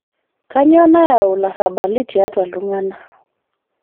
Kainyoo nayau larrabali tiatua ltung'ana